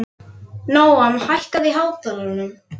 Nóam, hækkaðu í hátalaranum.